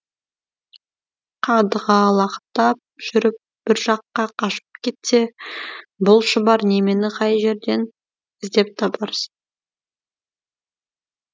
қадғалақтап жүріп бір жаққа қашып кетсе бұл шұбар немені қай жерден іздеп табарсың